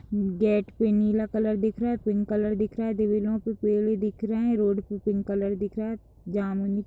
Gate पे नीला colour दिख रहा है पिंक कलर दिख रहा है। पेड़ भी दिख रहें हैं रोड पे पिंक कलर दिख रहा है। जाम --